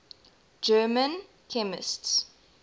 german chemists